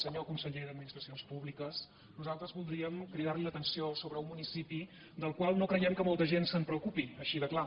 senyor conseller d’administracions públiques nosaltres voldríem cridar li l’atenció sobre un municipi del qual no creiem que molta gent es preocupi així de clar